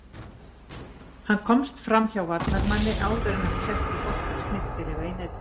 Hann komst framhjá varnarmanni áður enn hann setti boltann snyrtilega í netið.